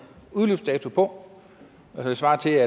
udløbsdato på det svarer til